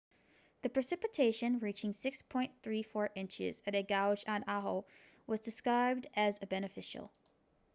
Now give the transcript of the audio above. the precipitation reaching 6.34 inches at a gauge on oahu was described as beneficial